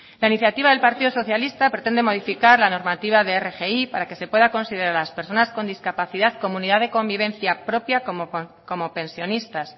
la iniciativa del partido socialista pretende modificar la normativa de rgi para que se pueda considerar a las personas con discapacidad como unidad de convivencia propia como pensionistas